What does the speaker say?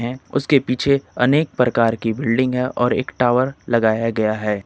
उसके पीछे अनेक प्रकार की बिल्डिंग है और एक टावर लगाया गया है।